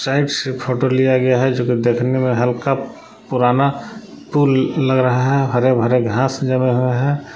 Sides से photo लिया गया है जोकि देखने में हल्का पुराना पूल लग रहा है हरे भरे घास नजर आ रहा है।